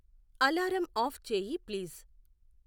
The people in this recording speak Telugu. అలారం ఆఫ్ చేయి ప్లీజ్